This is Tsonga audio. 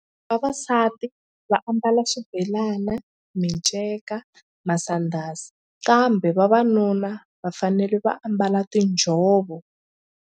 Vavasati va ambala xibelana, miceka masandhazi kambe vavanuna va fanele va ambala tinjhovo.